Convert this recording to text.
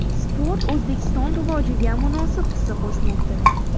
Sport O‘zbekiston rivojiga munosib hissa qo‘shmoqda.